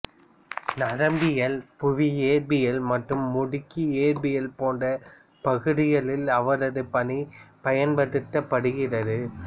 நரம்பியல் புவி இயற்பியல் மற்றும் முடுக்கி இயற்பியல் போன்ற பகுதிகளில் அவரது பணி பயன்படுத்தப்படுகிறது